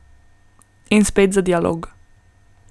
In spet za dialog.